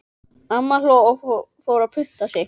Amma hló og fór að punta sig.